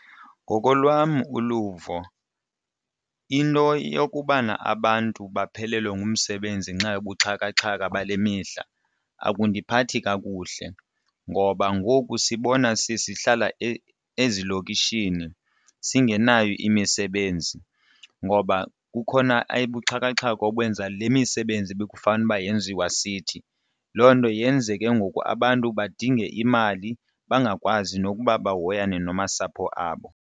Ngokolwam uluvo into yokubana abantu baphelelwe ngumsebenzi ngenxa yobuxhakaxhaka bale mihla akundiphatha kakuhle ngoba ngoku sibona sesihlala ezilokishini singenayo imisebenzi ngoba kukhona ebuthakathaka obenza le misebenzi ebekufanele uba yenziwa sithi. Loo nto yenze ke ngoku abantu badinge imali bangakwazi nokuba bahoyane namasapho abo.